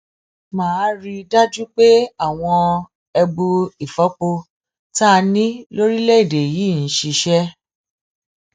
má a rí i dájú pé àwọn ẹbu ìfọpo tá a ní lórílẹèdè yìí ń ṣiṣẹ